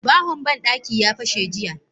Bahon bandaki ya fashe jiya.